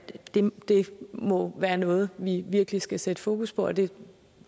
det må være noget vi virkelig skal sætte fokus på det